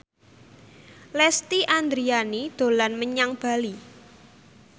Lesti Andryani dolan menyang Bali